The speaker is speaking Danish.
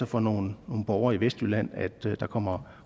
for nogle borgere i vestjylland at der kommer